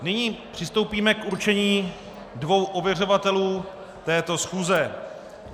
Nyní přistoupíme k určení dvou ověřovatelů této schůze.